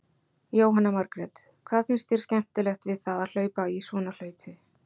Jóhanna Margrét: Hvað finnst þér skemmtilegt við það að hlaupa í svona hlaupi?